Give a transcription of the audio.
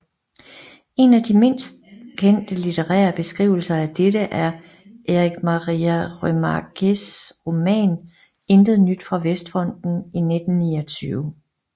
En af de mest kendte litterære beskrivelse af dette er Erich Maria Remarques roman Intet nyt fra Vestfronten i 1929